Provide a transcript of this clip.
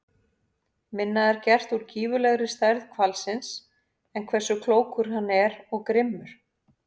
Minna er gert úr gífurlegri stærð hvalsins en hversu klókur hann er og grimmur.